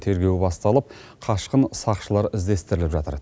тергеу басталып қашқын сақшылар іздестіріліп жатыр